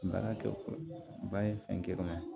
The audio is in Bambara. Baara kɛ ba ye fɛn wɛrɛ ma